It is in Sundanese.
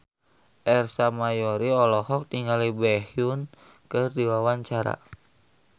Ersa Mayori olohok ningali Baekhyun keur diwawancara